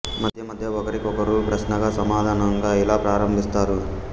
మధ్య మధ్య ఒకరి కొకరు ప్రశ్నకు సమాధానంగా ఇలా ప్రారంభిస్తారు